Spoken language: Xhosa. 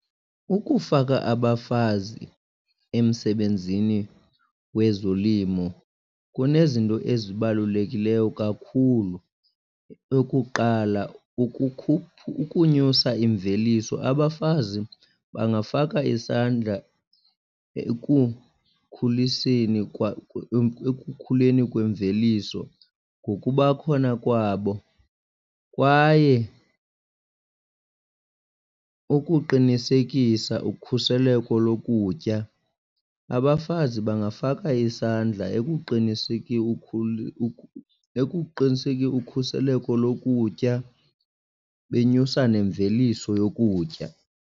Ukufaka abafazi emsebenzini wezolimo kunezinto ezibalulekileyo kakhulu. Eyokuqala ukunyusa imveliso, abafazi bangafaka isandla ekukhuliseni , ekukhuleni kwemveliso ngokuba khona kwabo. Kwaye ukuqinisekisa ukhuseleko lokutya, abafazi bangafaka isandla ekuqiniseke ukhuseleko lokutya benyusa nemveliso yokutya.